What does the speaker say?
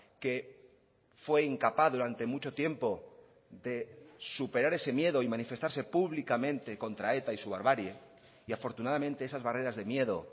que fue incapaz durante mucho tiempo de superar ese miedo y manifestarse públicamente contra eta y su barbarie y afortunadamente esas barreras de miedo